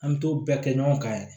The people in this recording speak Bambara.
An bɛ t'o bɛɛ kɛ ɲɔgɔn kan yɛrɛ